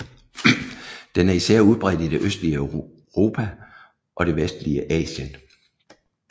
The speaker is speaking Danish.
Den er især udbredt i det østlige Europa og det vestlige Asien